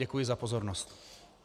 Děkuji za pozornost.